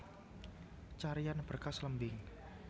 Carian Berkas lembing